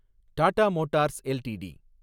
Tata motors LTD